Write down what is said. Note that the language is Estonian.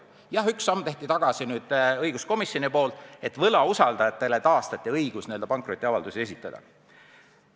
Jah, ühe sammu tegi õiguskomisjon nüüd tagasi, taastades võlausaldajate õiguse pankrotiavaldusi esitada.